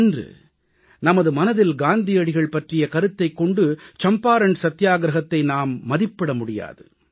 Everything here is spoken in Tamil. இன்று நமது மனதில் காந்தியடிகள் பற்றிய கருத்தைக் கொண்டு சம்பாரண் சத்தியாகிரஹத்தை நாம் மதிப்பிட முடியாது